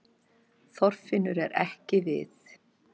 Þorfinnur er ekki við